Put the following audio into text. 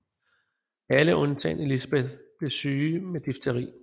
Alle undtagen Elisabeth blev syge med difteri